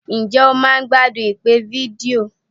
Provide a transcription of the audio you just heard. Ǹjẹ́ o máa ń gbádùn ìpè fídíò?